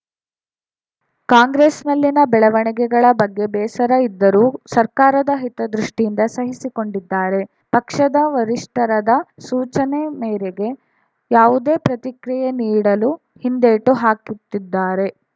ಕಾಂಗ್ರೆಸ್‌ನಲ್ಲಿನ ಬೆಳವಣಿಗೆಗಳ ಬಗ್ಗೆ ಬೇಸರ ಇದ್ದರೂ ಸರ್ಕಾರದ ಹಿತದೃಷ್ಟಿಯಿಂದ ಸಹಿಸಿಕೊಂಡಿದ್ದಾರೆ ಪಕ್ಷದ ವರಿಷ್ಠರದ ಸೂಚನೆ ಮೇರೆಗೆ ಯಾವುದೇ ಪ್ರತಿಕ್ರಿಯೆ ನೀಡಲು ಹಿಂದೇಟು ಹಾಕುತ್ತಿದ್ದಾರೆ